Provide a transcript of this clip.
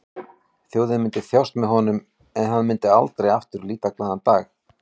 Þjóðin myndi þjást með honum en hann myndi aldrei aftur líta glaðan dag.